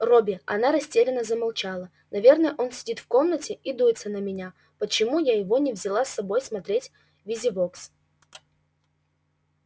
робби она растерянно замолчала наверно он сидит в комнате и дуется на меня почему я его не взяла с собой смотреть визивокс